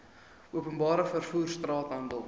openbare vervoer straathandel